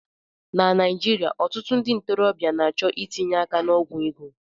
Na Naijiria, ọtụtụ ndị ntorobịa na-achọ itinye aka n'ogwu ego.